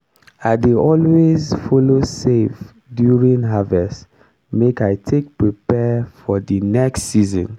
i dey always follow save during harvest make i take prepare for di next season.